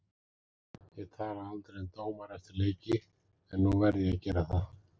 Ég tala aldrei um dómara eftir leiki, en nú verð ég að gera það.